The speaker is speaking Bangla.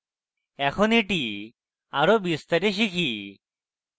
এখন এটি আরো বিস্তারে শিখি